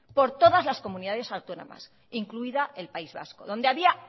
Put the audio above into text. por todas las comunidades autónomas incluida el país vasco donde había